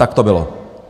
Tak to bylo!